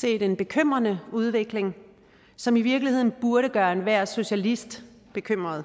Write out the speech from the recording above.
set en bekymrende udvikling som i virkeligheden burde gøre enhver socialist bekymret